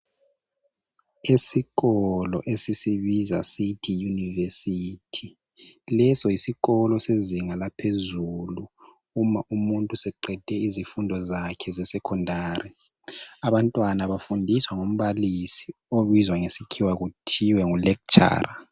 Isikolo esisibiza sithi yunivesiti leso yisisikolo sezinga laphezulu uma umuntu eseqede ezifundo zesekhondari. Abantwana bafundiswa ngumbalisi obizwa ngesikhiwa kuthiwe ngulekitshara.